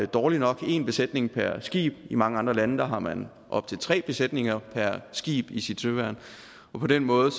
dårligt nok har en besætning per skib i mange andre lande har man op til tre besætninger per skib i sit søværn og på den måde